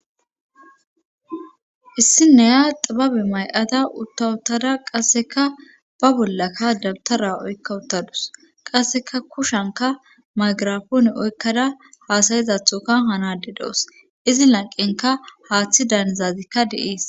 issinneya xababe may7ata uttawutada qasseka ba bollakka dabtara oykka uttadus qasseka kushanka magarafone oykkada haasayizathoka hanade doos izi lanqenka haaththi danizazikka deies